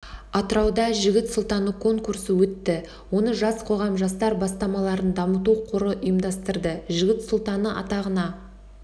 атырауда жігіт сұлтаны конкурсы өтті оны жас қоғам жастар бастамаларын дамыту қоры ұйымдастырды жігіт сұлтаны атағына